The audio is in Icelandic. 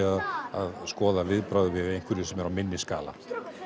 að skoða viðbrögð við einhverju sem er á minni skala